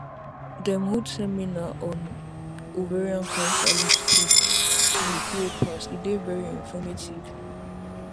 dem hold seminar on ovarian cancer last week week wey pass e dey very informative